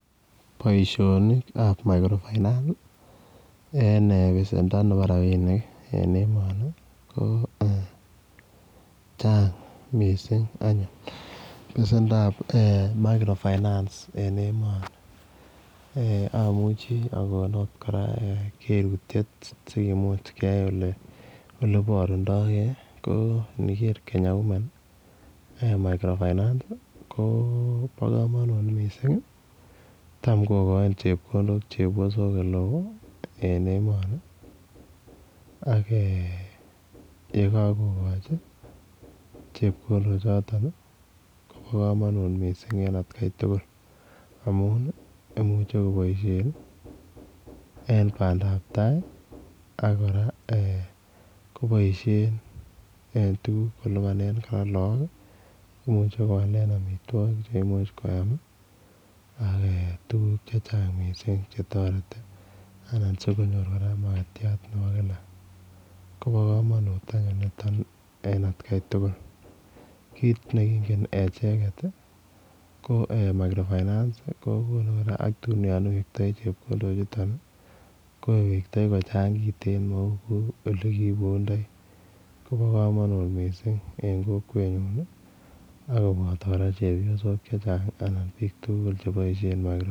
Boisionikab 'micro finance' ii en besendo nebo rapinik en emoni koo ee chang missing anyun besendab eeh 'micro finance'en emoni amuchii akon ot kerutiet sikumuch keyai oleborundogee koo iniker 'Kenya women' eeh 'micro finance' koo bo komonut missing tam kokoinik chepiosok oleo en emoni ak ee yekokokochi chepkondochoton ii kobo komonut missing en atkai tugul amun imuche koboisien en bandab tai.ak kora eeh koboisien en tuguk kolipanen kot laak, imuche koalen amitwogik cheimuch koyam ak eeh tuguk chechang missing chetoreti ,anan sikonyor kora makatiat nebo kila kobo komonut niton anyun atkai tugul ,kit nekingen acheket it ko eeh'micro finance' koo konu kora ak tun yon iwektoi chepkondochuton ko iwektoi kochang kiten mouu olekiibundoi kobo komonut missing en kokwenyun akoboto kora chepiosok chechang anan biik tuugul cheboisien 'micro finance'.